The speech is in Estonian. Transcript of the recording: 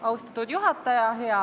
Austatud juhataja!